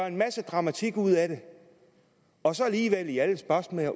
en masse dramatik ud af det og så alligevel i alle spørgsmål